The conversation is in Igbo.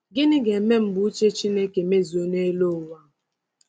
Gịnị ga-eme mgbe uche Chineke mezuo n’elu ụwa?